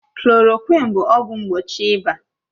Klòròkwịn bụ ọgwụ mgbochi ịba